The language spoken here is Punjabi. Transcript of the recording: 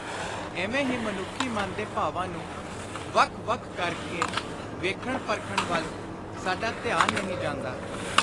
ਇਵੇਂ ਹੀ ਮਨੁੱਖੀ ਮਨ ਦੇ ਭਾਵਾਂ ਨੂੰ ਵੱਖ ਵੱਖ ਕਰ ਕੇ ਵੇਖਣ ਪਰਖਣ ਵੱਲ ਸਾਡਾ ਧਿਆਨ ਨਹੀਂ ਜਾਂਦਾ।